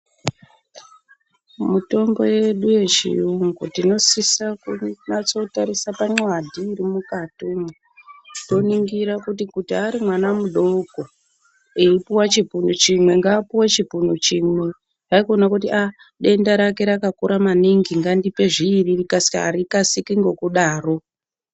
Mutombo yedu yechiyungu tinosisa kunyatsotarisa pamxadhi irimukatimwo. Toningira kuti kuti arimwana mudoko eipuwa chipunu chimwe, ngaapuwe chipunu chimwe. Haikona kuti ah denda rake rakakura maningi ngandipe zviiri rikasike, harikasiri ngokudaro.